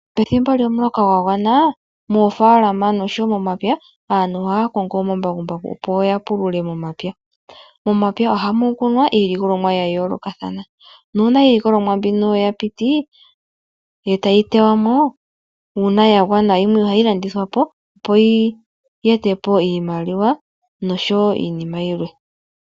Pethimbo lyomuloka gwagwana, moofaalama oshowoo momapya aantu ohaa kongo omambakumbaku opo yapulule momapya. Momapya ohamu kunwa iilikolomwa ya yoolokathana nuuna iilikolomwa mbino yapiti, etayi likolwamo, ngele yimwe yagwana ohayi landithwapo opo yi etepo iimaliwa noshowoo iinima yilwe.